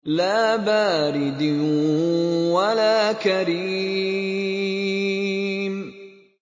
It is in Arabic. لَّا بَارِدٍ وَلَا كَرِيمٍ